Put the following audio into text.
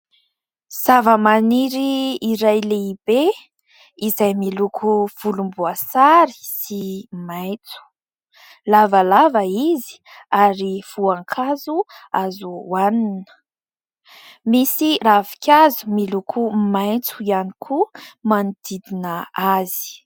Zava-maniry iray lehibe izay miloko volomboasary sy maitso. Lavalava izy ary voankazo azo hohanina. Misy ravinkazo miloko maitso ihany koa manodidina azy.